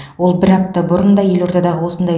ол бір апта бұрын да елордадағы осындай